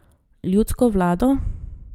Ljudsko vlado?